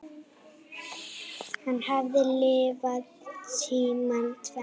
Hann hafði lifað tímana tvenna.